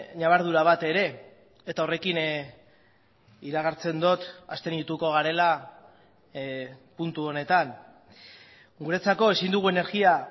ñabardura bat ere eta horrekin iragartzen dut abstenituko garela puntu honetan guretzako ezin dugu energia